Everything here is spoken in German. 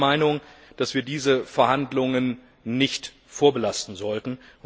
Und ich bin der Meinung, dass wir diese Verhandlungen nicht vorbelasten sollten.